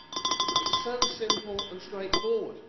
It is so simple and straightforward.